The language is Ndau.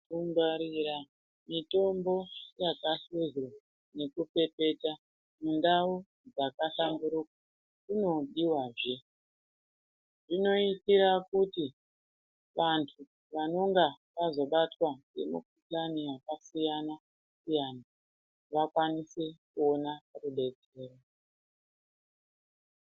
Kungwarira mitombo yakahluzwa nekupepeta mundau dzakahlamburuka kunodiwazve. Zvinoitira kuti vantu vanonga vazobatwa ngemikuhlani yakasiyana-siyana vakwanise kuona rudetsero.